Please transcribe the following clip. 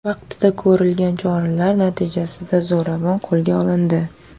Vaqtida ko‘rilgan choralar natijasida zo‘ravon qo‘lga olindi.